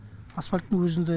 асфальттың өзінде